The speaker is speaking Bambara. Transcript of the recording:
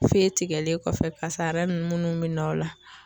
Fe tigɛlen kɔfɛ pase a yɛrɛ ni nunnu be na o la